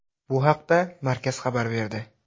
Bu haqda markaz xabar berdi.